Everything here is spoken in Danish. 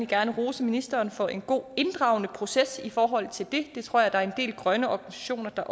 gerne rose ministeren for en god inddragende proces i forhold til det og det tror jeg der er en del grønne organisationer der